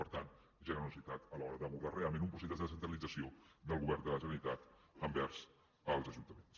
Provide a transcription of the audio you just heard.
per tant generositat a l’hora d’abordar realment un procés de descentralització del govern de la generalitat envers els ajuntaments